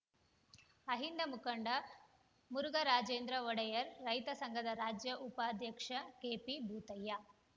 ಅಹಿಂದ ಮುಖಂಡ ಮುರುಘಾರಾಜೇಂದ್ರ ಒಡೆಯರ್‌ ರೈತ ಸಂಘದ ರಾಜ್ಯ ಉಪಾಧ್ಯಕ್ಷ ಕೆಪಿಭೂತಯ್ಯ